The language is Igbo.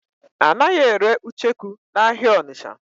A naghị ere ucheku n'ahịa Ọnịcha.